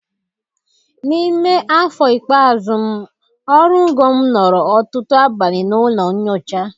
N'ime afọ ikpeazụ m oru ngo m nọrọ ọtụtụ abalị na ụlọ nyocha.